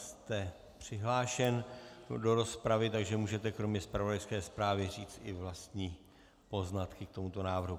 Jste přihlášen do rozpravy, takže můžete kromě zpravodajské zprávy říct i vlastní poznatky k tomuto návrhu.